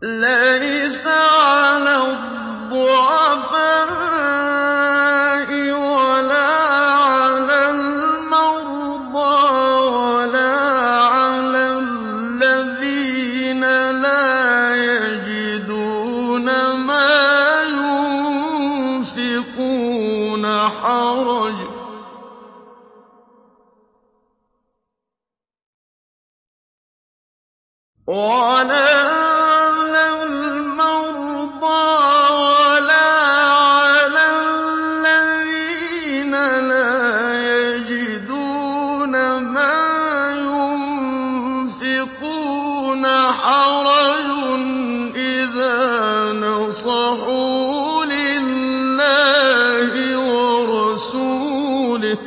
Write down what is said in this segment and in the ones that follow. لَّيْسَ عَلَى الضُّعَفَاءِ وَلَا عَلَى الْمَرْضَىٰ وَلَا عَلَى الَّذِينَ لَا يَجِدُونَ مَا يُنفِقُونَ حَرَجٌ إِذَا نَصَحُوا لِلَّهِ وَرَسُولِهِ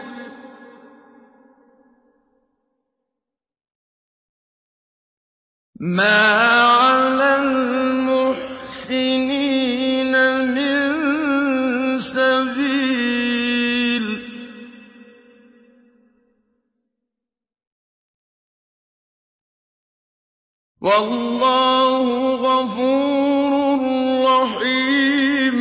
ۚ مَا عَلَى الْمُحْسِنِينَ مِن سَبِيلٍ ۚ وَاللَّهُ غَفُورٌ رَّحِيمٌ